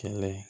Kɛlɛ ye